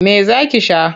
Me za ki sha?